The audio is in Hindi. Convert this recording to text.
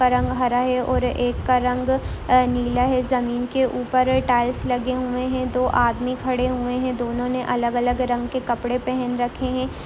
एक का रंग हरा है और एक का रंग नीला है ज़मीन के ऊपर टाइल्स लगे हुए हैं दो आदमी खड़े हुए हैं दोनों ने अलग अलग रंग के कपड़े पहन रखे है।